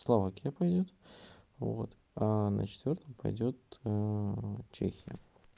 словакия пойдёт вот а на четвёртом пойдёт чехия